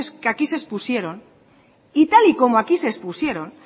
que aquí se expusieron y tal y como aquí se expusieron